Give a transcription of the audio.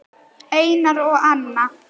Einar og Anna.